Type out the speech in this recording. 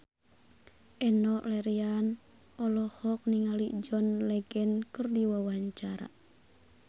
Enno Lerian olohok ningali John Legend keur diwawancara